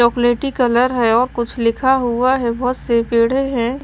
चॉकलेटी कलर है और कुछ लिखा हुआ है बहुत से पेड़े हैं।